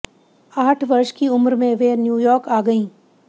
आठ वर्ष की उम्र में वे न्यूयार्क आ गईं